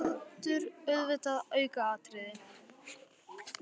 Hér er aldur auðvitað aukaatriði.